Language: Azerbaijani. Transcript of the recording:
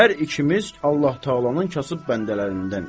Hər ikimiz Allah-Təalanın kasıb bəndələrindənik.